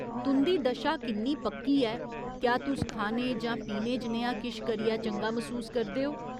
तुं'दी दशा किन्नी पक्की ऐ, क्या तुस खाने जां पीने जनेहा किश करियै चंगा मसूस करदे ओ ?